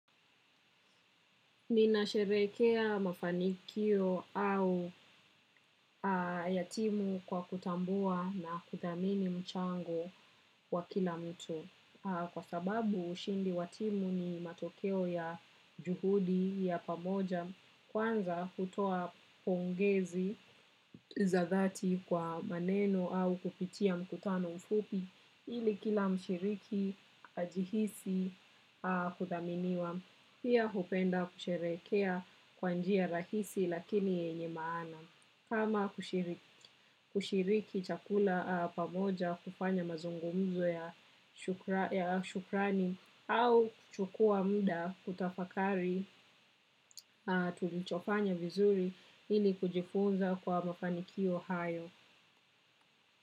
Ninasherekea mafanikio au ya timu kwa kutambua na kuthamini mchango wa kila mtu. Kwa sababu, ushindi wa timu ni matokeo ya juhudi ya pamoja. Kwanza hutoa pongezi za dhati kwa maneno au kupitia mkutano mfupi ili kila mshiriki ajihisi kuthaminiwa. Pia hupenda kusherekea kwa njia rahisi lakini yenye maana. Kama kushiriki chakula pamoja kufanya mazungumzo ya shukrani au kuchukua muda kutafakari tulichofanya vizuri ili kujifunza kwa mafaniki hayo.